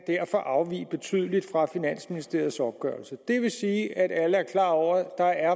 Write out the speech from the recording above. afvige betydeligt fra finansministeriets opgørelse det vil sige at alle er klar over at